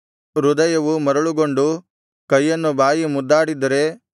ಹೃದಯವು ಮರುಳುಗೊಂಡು ಕೈಯನ್ನು ಬಾಯಿ ಮುದ್ದಾಡಿದ್ದರೆ